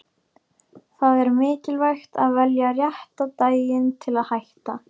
Það er mikilvægt að velja rétta daginn til að hætta.